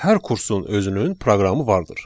Hər kursun özünün proqramı vardır.